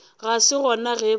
ga se gona ge ba